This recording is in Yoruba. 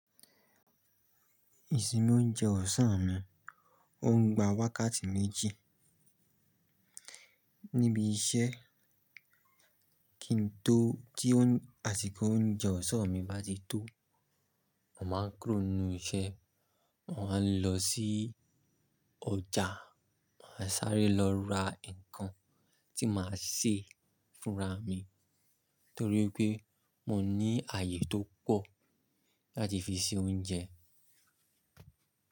Ìsinmi oúnjẹ ọ̀sán mi, ó ń gba wákàtí méjì. Níbi iṣẹ́ tí àsìkò oúnjẹ ọ̀sán mi bá tito mo máa ń kúrò nínú iṣẹ́ mo máa ńlọ sí ọjà màá sáré lọ ra nǹkan tí ma ṣe fún ara mi torí pé mo ní àyè tó pọ̀ láti ṣe oúnjẹ fún ara mi.